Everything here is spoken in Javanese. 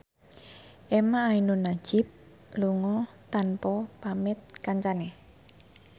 emha ainun nadjib lunga tanpa pamit kancane